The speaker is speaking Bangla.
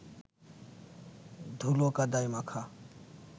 ধুলো কাদায় মাখা